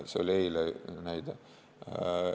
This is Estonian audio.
See oli eilne näide.